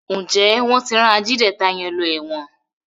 Njé wón tí ran Ajídétà yén ló èwòn?